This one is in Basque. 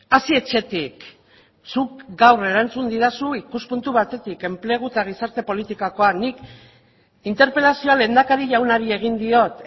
hasi etxetik zuk gaur erantzun didazu ikuspuntu batetik enplegu eta gizarte politikakoa nik interpelazioa lehendakari jaunari egin diot